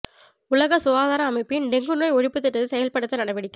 உலக சுகாதார அமைப்பின் டெங்கு நோய் ஒழிப்பு திட்டத்தை செயல்படுத்த நடவடிக்கை